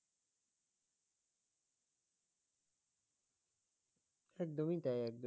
একদমই তাই একদমই